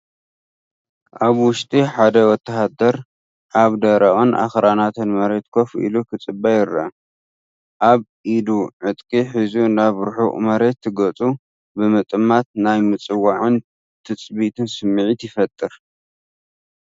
ኣብ ውሽጢ ሓደ ወተሃደር ኣብ ደረቕን ኣኽራናትን መሬት ኮፍ ኢሉ ክጽበ ይረአ። ኣብ ኢዱ ዕጥቂ ሒዙ ናብ ርሑቕ መሬት ገጹ ብምጥማት ናይ ምጽዋዕን ትጽቢትን ስምዒት ይፈጥር።